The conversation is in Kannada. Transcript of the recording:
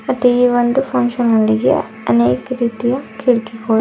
ಮತ್ತೆ ಈ ಒಂದು ಫಂಕ್ಷನ್ ನಲ್ಲಿಗೆ ಅನೇಕ ರೀತಿಯ ಕಿಡ್ಕಿಗೋಳು--